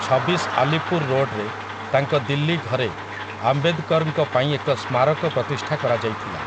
ଛବିଶ ଆଲିପୁର ରୋଡ୍‌ରେ ତାଙ୍କ ଦିଲ୍ଲୀ ଘରେ ଆମ୍ବେଦକରଙ୍କ ପାଇଁ ଏକ ସ୍ମାରକ ପ୍ରତିଷ୍ଠା କରାଯାଇଥିଲା ।